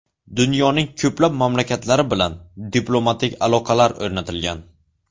Dunyoning ko‘plab mamlakatlari bilan diplomatik aloqalar o‘rnatilgan.